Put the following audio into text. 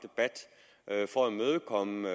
at at for at imødekomme